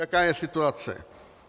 Jaká je situace?